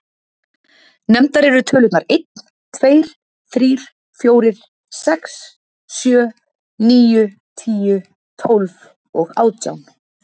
Nefndar eru tölurnar einn, tveir, þrír, fjórir, sex, sjö, níu, tíu, tólf og átján.